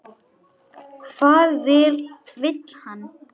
Hvað vill hann?